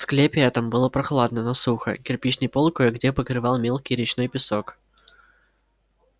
в склепе этом было прохладно но сухо кирпичный пол кое-где покрывал мелкий речной песок